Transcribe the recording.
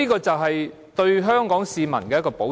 這是對香港市民的一個保障。